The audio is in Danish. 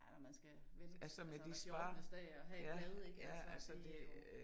Ja man skal vente altså hver fjortende dag at have et bad ik altså det jo